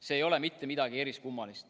See ei ole mitte midagi eriskummalist.